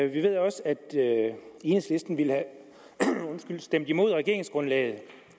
vi ved også at enhedslisten ville have stemt imod regeringsgrundlaget